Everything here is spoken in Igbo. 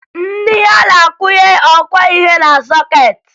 Nne ya na-akwụnye ọkwọihe na sọkeetị